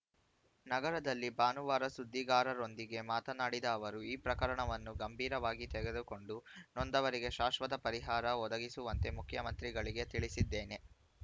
ನಗರದಲ್ಲಿ ಭಾನುವಾರ ಸುದ್ದಿಗಾರರೊಂದಿಗೆ ಮಾತನಾಡಿದ ಅವರು ಈ ಪ್ರಕರಣವನ್ನು ಗಂಭೀರವಾಗಿ ತೆಗೆದುಕೊಂಡು ನೊಂದವರಿಗೆ ಶಾಶ್ವತ ಪರಿಹಾರ ಒದಗಿಸುವಂತೆ ಮುಖ್ಯಮಂತ್ರಿಗಳಿಗೆ ತಿಳಿಸಿದ್ದೇನೆ